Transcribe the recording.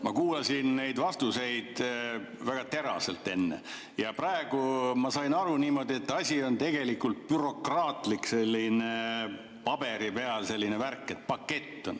Ma kuulasin neid vastuseid väga teraselt enne ja praegu ma sain aru niimoodi, et asi on tegelikult bürokraatlik, selline paberi peal värk, pakett.